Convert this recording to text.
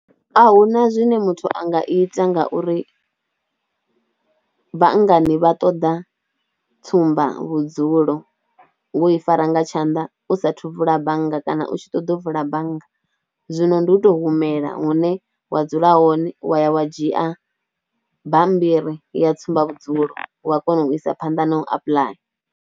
Ahuna zwine muthu a nga ita ngauri banngani vha ṱoḓa tsumbavhudzulo wo i fara nga tshanḓa u sathu vula bannga kana u tshi ṱoḓa u vula bannga, zwino ndi u tou humela hune wa dzula hone wa ya wa dzhia bammbiri ya tsumba vhudzulo wa kona u isa phanḓa na u apuḽaya.